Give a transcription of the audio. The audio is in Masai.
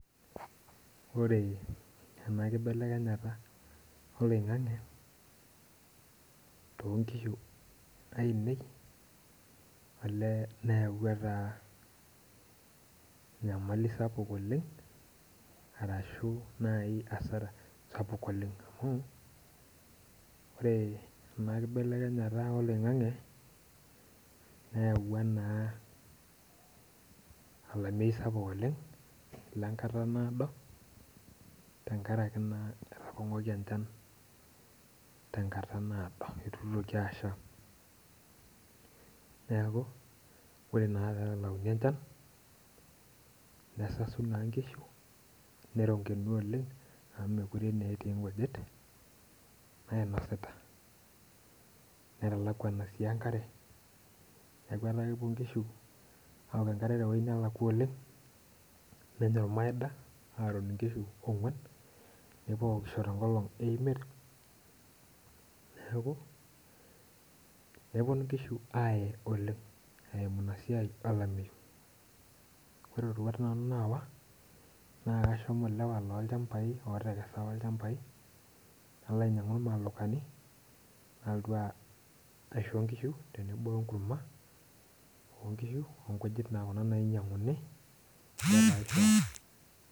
Ore ena kibelekenyata oloingange toonkishu ainei nayaua enyamali sapuk oleng, ashu asra naaji sapuk oleng amu ore ena kibelekenyata oloingange nayaua naa olameyu sapuk oleng lenkata naado tenkaraki naa etapongori enchan tenkata naado eitu itoki asha ,neeku ore naa pee elauni enchan nesasu naa nkishu neronkenu oleng amu mookure naa etii nkujit nainosita ,netalakwani sii enkare neeku kepuo nkishu aok enkare teweji nelakwa oleng ,neron nkishu ogwan nepuo aokisho tenkolong emiet neeku neponu nkishu aaye oleng eimu ina siai olameyu. ore rorwat nanu naasa naa kashomo lchampai loolewa apa lootekera lchampai nalo ainyangu lmalokani nalotu aisho nkishu tenebo wenkurma oonkishu onkujit naa Kuna nainyanguni.